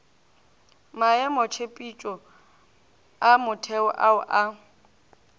maemotshepetšo a motheo ao a